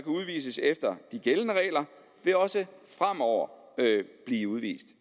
udvises efter de gældende regler også fremover blive udvist